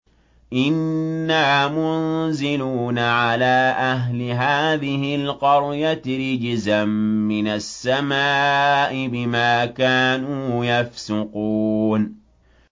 إِنَّا مُنزِلُونَ عَلَىٰ أَهْلِ هَٰذِهِ الْقَرْيَةِ رِجْزًا مِّنَ السَّمَاءِ بِمَا كَانُوا يَفْسُقُونَ